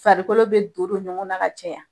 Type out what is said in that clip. Farikolo bɛ don don ɲɔgɔn na ka caya.